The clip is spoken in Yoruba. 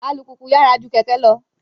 Alupupu yyara ju kẹkẹ lọ